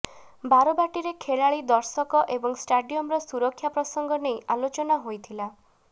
ବାଟବାଟୀରେ ଖେଳାଳି ଦର୍ଶକ ଏବଂ ଷ୍ଟାଡିୟମର ସୁରକ୍ଷା ପ୍ରସଙ୍ଗ ନେଇ ଆଲୋଚନା ହୋଇଥିଲା